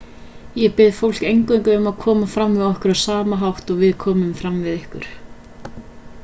ég bið fólk eingöngu um að koma fram við okkur á sama hátt og við komum fram við ykkur